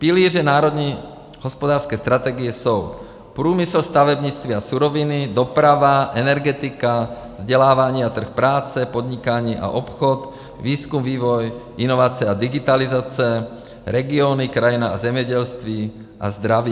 Pilíře národní hospodářské strategie jsou: průmysl, stavebnictví a suroviny, doprava, energetika, vzdělávání a trh práce, podnikání a obchod, výzkum, vývoj, inovace a digitalizace, regiony, krajina a zemědělství a zdraví.